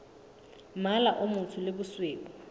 mmala o motsho le bosweu